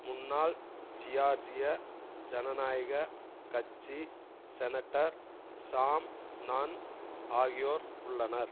முன்னாள் ஜியார்ஜிய ஜனநாயக கட்சி செனட்டர் சாம் நன் ஆகியோர் உள்ளனர்